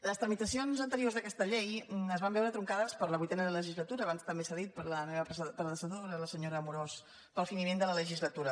les tramitacions anteriors d’aquesta llei es van veure truncades per la vuitena legislatura abans també s’ha dit per la meva predecessora la senyora amorós pel finiment de la legislatura